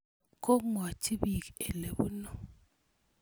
Komwochi piik ole punu.